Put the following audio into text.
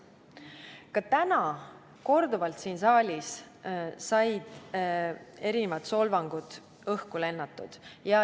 Ka täna siin saalis sai korduvalt solvanguid õhku lennutatud.